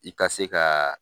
I ka se ka